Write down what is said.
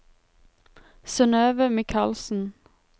Synnøve Mikalsen